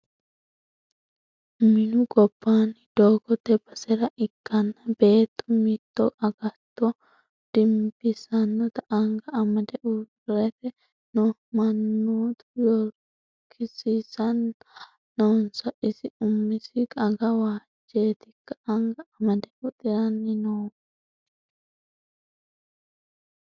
Minu gobbani doogote basera ikkanna beettu mitu agatto dimbisanotta anga amade uurrite no mannotta yogorsiisani noonso isi umisi aga waajetikka anga amade huxirani noohu ?